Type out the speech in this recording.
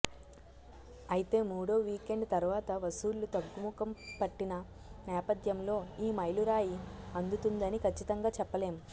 ఐతే మూడో వీకెండ్ తర్వాత వసూళ్లు తగ్గు ముఖం పట్టిన నేపథ్యంలో ఈ మైలురాయి అందుతుందని కచ్చితంగా చెప్పలేం